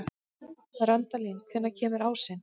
Randalín, hvenær kemur ásinn?